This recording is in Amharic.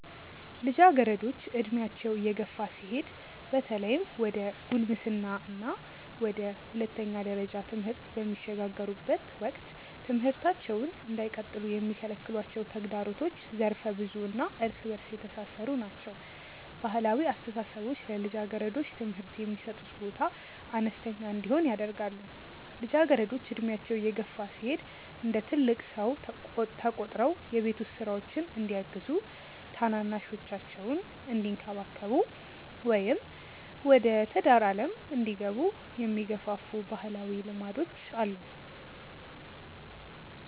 ልጃገረዶች ዕድሜያቸው እየገፋ ሲሄድ በተለይም ወደ ጉልምስና እና ወደ ሁለተኛ ደረጃ ትምህርት በሚሸጋገሩበት ወቅት ትምህርታቸውን እንዳይቀጥሉ የሚከለክሏቸው ተግዳሮቶች ዘርፈ-ብዙ እና እርስ በእርስ የተሳሰሩ ናቸው። ባህላዊ አስተሳሰቦች ለልጃገረዶች ትምህርት የሚሰጡት ቦታ አነስተኛ እንዲሆን ያደርጋሉ። ልጃገረዶች ዕድሜያቸው እየገፋ ሲሄድ እንደ ትልቅ ሰው ተቆጥረው የቤት ውስጥ ሥራዎችን እንዲያግዙ፣ ታናናሾቻቸውን እንዲንከባከቡ ወይም ወደ ትዳር ዓለም እንዲገቡ የሚገፋፉ ባህላዊ ልማዶች አሉ።